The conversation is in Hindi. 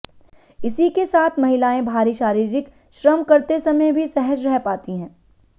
इसी के साथ महिलाएं भारी शारीरिक श्रम करते समय भी सहज रह पाती हैं